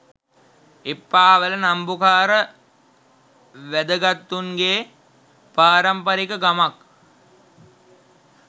එප්පාවල නම්බුකාර වැදගතුන්ගේ පාරම්පරික ගමක්